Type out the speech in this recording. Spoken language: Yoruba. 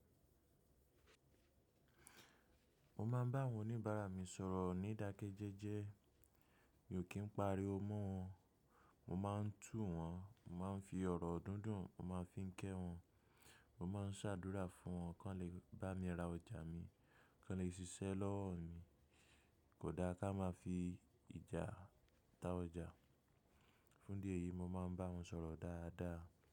Mo máa ń bá àwọn oníbàárà mi sọ̀rọ̀ ní ìdákẹ́jẹ́jẹ́. Mi ò kì ń pariwo mọ́ wọn. Mo máa ń tù wọ́n, mo máa ń fi ọ̀rọ̀ dúndùn, mo máa ń fi ń kẹ́ wọn. Mo máa ń ṣàdúrà fún wọn kán lè bá mi ra ọjà mi, kán le ṣiṣẹ́ lọ́wọ́ mi. Kò dáa ká máa fi ìjà ta ọjà. Fún dí èyi mo máa ń bá wọn sọ̀rọ̀ dáadáa.